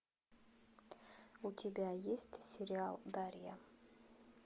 у тебя есть сериал дарья